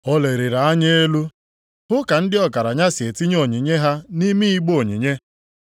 Ọ leliri anya elu hụ ka ndị ọgaranya si etinye onyinye ha nʼime igbe onyinye.